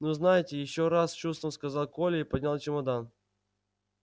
ну знаете ещё раз с чувством сказал коля и поднял чемодан